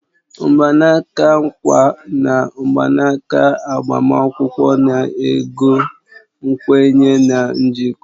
Mgbanaka nkwa na mgbanaka agbamakwụkwọ na-ego nkwenye na njikọ